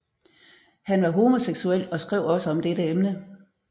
Han var homoseksuel og skrev også om dette emne